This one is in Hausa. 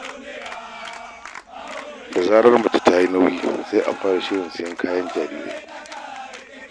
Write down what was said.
Da zarar mace ta yi nauyi sai a fara shirin sayen kayayyakin jarirai.